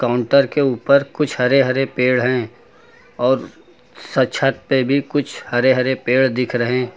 counter के ऊपर कुछ हरे हरे पेड़ हैं और स छत पे भी कुछ हरे हरे पेड़ दिख रहे --